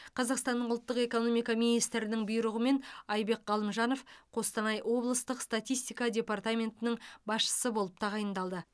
қазақстанның ұлттық экономика министрінің бұйрығымен айбек ғалымжанов қостанай облыстық статистика департаментінің басшысы болып тағайындалды